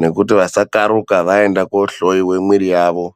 nekuti vasakharuka vaende koohloyiwa mwiri yavo.